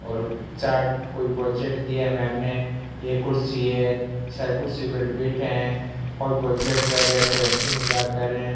और चार्ट कोई प्रोजेक्ट दिए हैं मॅम ने ये कुर्सी है सर कुर्सी पर बैठे हैं और प्रोजेक्ट कर रहे हैं कोई हंसी मजाक करें हैं।